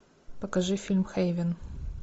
покажи фильм хейвен